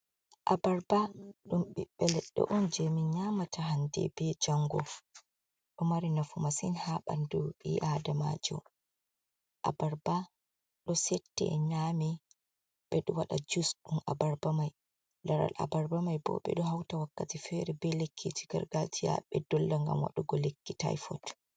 A barba, ɗum ɓiɓɓe leɗɗe on je min nyamata hande be jango. ɗo mari nafu masin ha ɓandu ɓi adamajo. a barba ɗo sette nyame, ɓeɗo waɗa jus ɗum a barbamai. laral aabarbamai bo, ɓeɗo hauta wakkati fere ɓe lekkiji garga jiya ɓe dolla ngam waɗugo lekki tyfot.